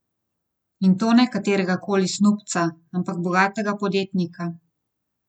In to ne katerega koli snubca, ampak bogatega podjetnika.